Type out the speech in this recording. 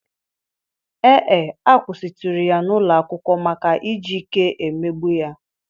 Ee e, a kwụsịtụrụ ya n'ụlọ akwụkwọ maka iji ike emegbu ya.